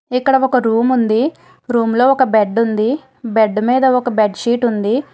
ఇక్కడ ఒక రూమ్ ఉంది రూం లో ఒక బెడ్ ఉంది బెడ్ మీద ఒక బేడ్ షీట్ ఉంది.